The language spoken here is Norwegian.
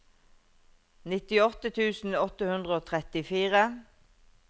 nittiåtte tusen åtte hundre og trettifire